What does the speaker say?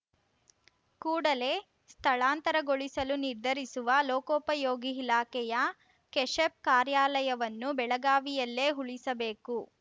ಕೂಡಲೇ ಸ್ಥಳಾಂತರಗೊಳಿಸಲು ನಿರ್ಧರಿಸಿರುವ ಲೋಕೋಪಯೋಗಿ ಇಲಾಖೆಯ ಕೆಶೆಪ್‌ ಕಾರ್ಯಾಲಯವನ್ನು ಬೆಳಗಾವಿಯಲ್ಲಿಯೇ ಉಳಿಸಬೇಕು